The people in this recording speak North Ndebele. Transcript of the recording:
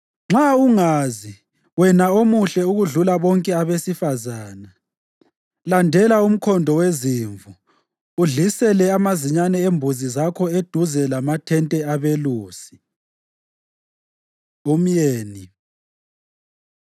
Nxa ungazi, wena omuhle okudlula bonke abesifazane, landela umkhondo wezimvu udlisele amazinyane embuzi zakho eduze lamathente abelusi. Umyeni